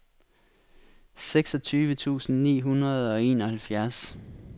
seksogtyve tusind ni hundrede og enoghalvfjerds